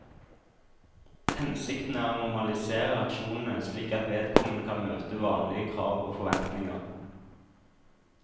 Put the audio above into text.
Hensikten er å normalisere reaksjonene slik at vedkommende kan møte vanlige krav og forventninger.